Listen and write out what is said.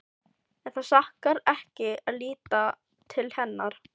En það sakar ekki að líta til hennar.